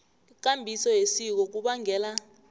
ikambiso yesiko kubangela